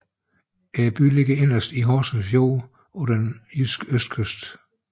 Byen ligger inderst i Horsens Fjord på den jyske østkyst